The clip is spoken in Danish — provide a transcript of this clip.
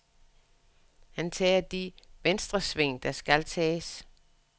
Han tager de venstresving, der skal tages.